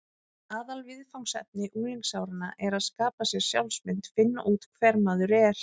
Aðalviðfangsefni unglingsáranna er að skapa sér sjálfsmynd: finna út hver maður er.